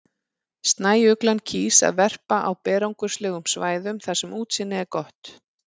Snæuglan kýs að verpa á berangurslegum svæðum þar sem útsýni er gott.